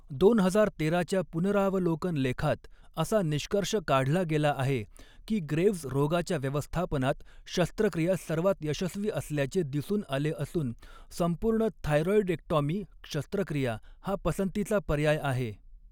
दोन हजार तेराच्या पुनरावलोकन लेखात असा निष्कर्ष काढला गेला आहे, की ग्रेव्हज रोगाच्या व्यवस्थापनात शस्त्रक्रिया सर्वात यशस्वी असल्याचे दिसून आले असून, संपूर्ण थायरॉइडेक्टॉमी शस्त्रक्रिया हा पसंतीचा पर्याय आहे.